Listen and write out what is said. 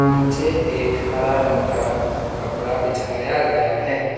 नीचे एक हरा रंग का कपड़ा बिछाया गया है।